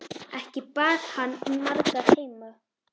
Ekki bar hann margar heim.